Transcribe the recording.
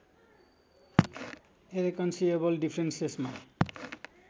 irreconcilable डिफ्रेन्सेसमा